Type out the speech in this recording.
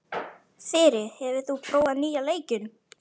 Þyri, hefur þú prófað nýja leikinn?